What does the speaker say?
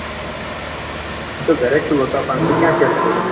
હું તો ઘરે છુ બકા પણ તું ક્યાં છે.